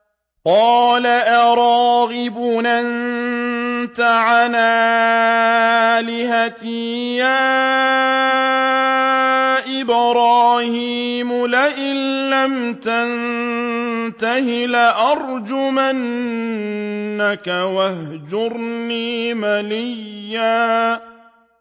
قَالَ أَرَاغِبٌ أَنتَ عَنْ آلِهَتِي يَا إِبْرَاهِيمُ ۖ لَئِن لَّمْ تَنتَهِ لَأَرْجُمَنَّكَ ۖ وَاهْجُرْنِي مَلِيًّا